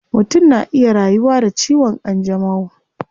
Mutum na iya rayuwa da ciwon kanjamau